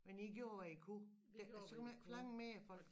Men i gjorde hvad i kunne så kan man ikke forlange mere af folk